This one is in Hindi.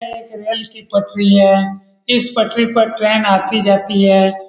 यह एक रेल की पटरी है इस पटरी पर ट्रैन आती जाती है।